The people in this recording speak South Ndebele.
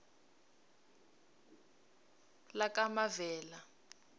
lakamavela